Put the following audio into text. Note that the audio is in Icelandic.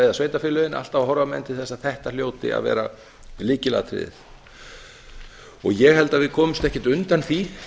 eða sveitarfélögin alltaf horfa menn til þess að þetta hljóti að vera lykilatriði ég held að við komumst ekkert undan því